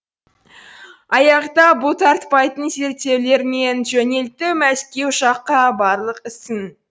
аяқтап бұлтартпайтын зерттеулер мен жөнелтті мәскеу жаққа барлық ісін